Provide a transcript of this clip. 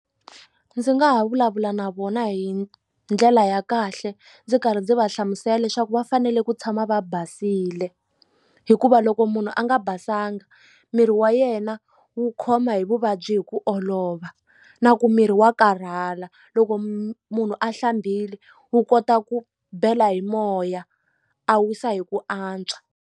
Ndzi nga ha vulavula na vona hi ndlela ya kahle ndzi karhi ndzi va hlamusela leswaku va fanele ku tshama va basile hikuva loko munhu a nga basanga miri wa yena wu khoma hi vuvabyi hi ku olova na ku miri wa karhala loko munhu a hlambile wu kota ku bela hi moya a wisa hi ku antswa.